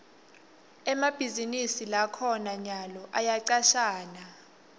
emabhizinisi lakhona nyalo ayacashana